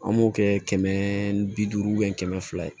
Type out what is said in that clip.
An b'o kɛ kɛmɛ bi duuru kɛmɛ fila ye